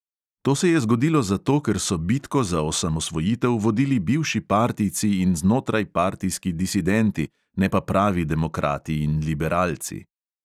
To se je zgodilo zato, ker so bitko za osamosvojitev vodili bivši partijci in znotrajpartijski disidenti, ne pa pravi demokrati in liberalci.